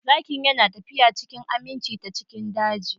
Zakin yana tafiya cikin aminci ta cikin daji